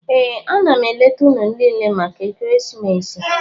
Ee, a na m eleta unu niile maka ekeresimesi.